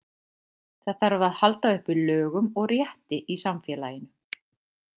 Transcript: Það þarf að halda uppi lögum og rétti í samfélaginu.